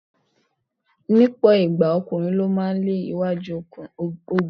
Ní ọ̀pọ̀ ìgbà, ọkùnrin ló máa ń lé iwájú ogun.